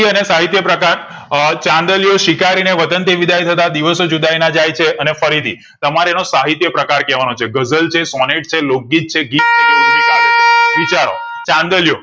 કૃતિ અને સહિતયપ્રકાર અ ચાંદલિયો સ્વીકારી ને વતન થી વિદાય થતા દિવસો જુદાઈ ના જાયછે અને ફરીથી તમારે એનો સાહિત્યપ્રકાર કેવા નો છે ગઝલ છે સોનેટ છે લોક ગીતા છે ગીત છે ઊર્મિકાવ્ય છે વિચારો ચાંદલિયો